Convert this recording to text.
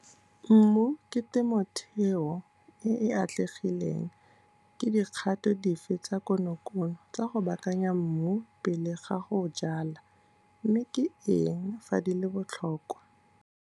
Mmu ke temotheo e e atlegileng, ke dikgato dife tsa konokono tsa go baakanya mmu pele ga go jala, mme ke eng fa di le botlhokwa?